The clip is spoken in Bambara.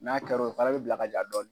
N'a kɛra o ye, o fana be bila ka ja dɔɔni.